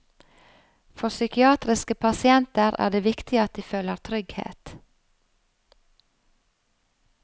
For psykiatriske pasienter er det viktig at de føler trygghet.